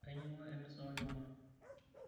Ainyang'ua emisa olchuma.